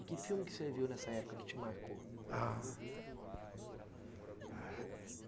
E que filme que você viu nessa época que te marcou? ah...